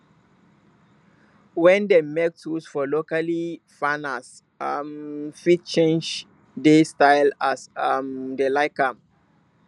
wen dem make tools for locally farners um fit change dey style as um dem like am